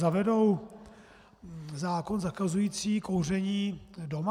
Zavedou zákon zakazující kouření doma?